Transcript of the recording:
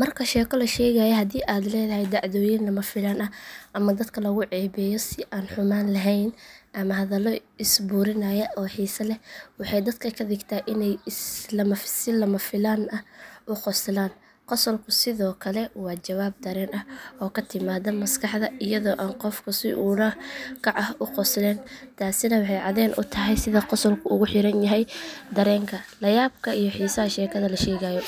Marka sheeko la sheegayo, haddii ay leedahay dhacdooyin lama filaan ah, ama dadka lagu ceebeeyo si aan xumaan lahayn, ama hadallo is burinaya oo xiiso leh, waxay dadka ka dhigtaa inay si lama filaan ah u qoslaan. Qosolku sidoo kale waa jawaab dareen ah oo ka timaadda maskaxda iyadoo aan qofku si ula kac ah u qoslayn. Taasina waxay caddeyn u tahay sida qosolku ugu xiran yahay dareenka, la yaabka iyo xiisaha sheekada la sheegayo.